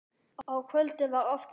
Á kvöldin var oft spilað.